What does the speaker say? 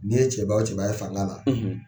N'i ye cɛba o cɛba ye fanga la